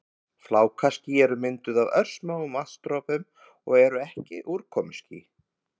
Flákaský eru mynduð af örsmáum vatnsdropum og eru ekki úrkomuský.